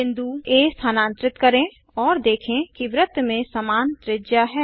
बिंदु आ स्थानांतरित करें और देखें कि वृत्त में समान त्रिज्या है